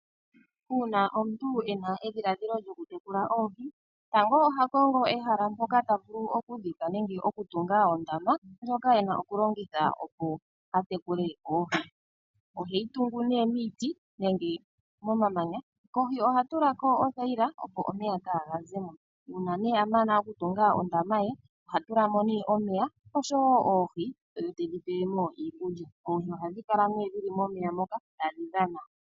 Una omuntu ena edhiladhilo lyoku tekula oohi, tango oha kongo ehala mpoka ta vulu oku dhika nenge ta vulu oku tunga ondama ndjoka ena oku longitha opo atekule oohi. Oheyi tungu ne niiti nenge momamanya kohi ohatu lako othaila opo omeya kaga zemo una ne amana oku tunga ondama ye oha tulamo ne omeya oshowo oohi ano tedhi tulilemo iikulya nohadhi laka ne dhili momeya moka tadhi dhana.